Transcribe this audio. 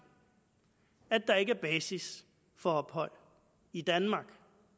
at der ikke er basis for ophold i danmark